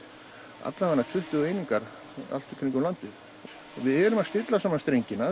alla vega tuttugu einingar allt í kringum landið við erum að stilla saman strengina